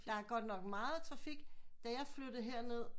Der er godt nok meget trafik da jeg flyttede her ned